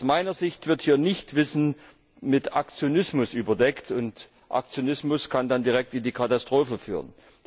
Aus meiner Sicht wird hier Nichtwissen mit Aktionismus überdeckt, und Aktionismus kann dann direkt in die Katastrophe führen.